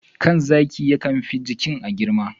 kan zaki yakan fi jikin a girma.